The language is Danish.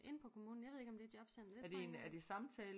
Inde på kommunen jeg ved ikke om det er et jobcenter det tror jeg ikke